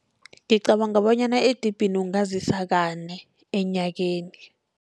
Ngicabanga bonyana edibhini ungazisa kane enyakeni.